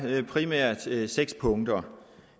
primært seks punkter